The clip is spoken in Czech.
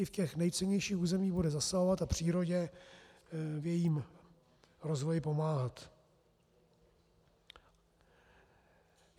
Čili v těch nejcennějších územích bude zasahovat a přírodě v jejím rozvoji pomáhat.